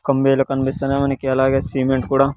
కమ్మీలు కనిపిస్తున్నాయి మనకి అలాగే సిమెంట్ కూడా.